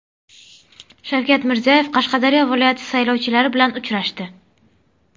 Shavkat Mirziyoyev Qashqadaryo viloyati saylovchilari bilan uchrashdi.